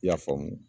I y'a faamu